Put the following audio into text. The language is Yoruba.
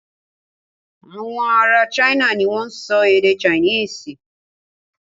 Awọn ará China ni wọ́n ń sọ èdè Chinese.